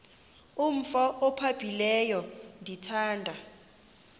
umf ophaphileyo ndithanda